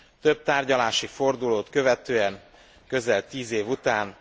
Több tárgyalási fordulót követően, közel 10 év után,